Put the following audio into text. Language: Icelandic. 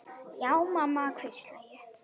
Já mamma, hvísla ég.